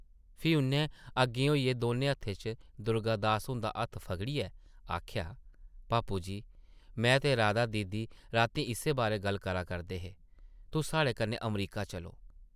फ्ही उʼन्नै अग्गें होइयै दौनें हत्थें च दुर्गा दास हुंदा हत्थ पगड़ियै आखेआ, पापू जी, में ते राधा दीदी रातीं इस्सै बारै गल्ल करा करदे हे, तुस साढ़े कन्नै अमरीका चलो ।